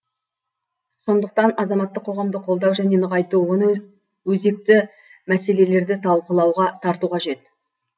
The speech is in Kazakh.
сондықтан азаматтық қоғамды қолдау және нығайту оны өзекті мәселелерді талқылауға тарту қажет